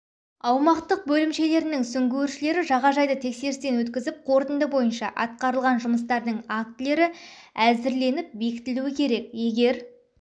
аумақтық бөлімшелерінің сүңгуіршілері жағажайды тексерістен өткізіп қорытынды бойынша атқарыған жұмыстардың актілері әзірленіп бекітілуі керек егер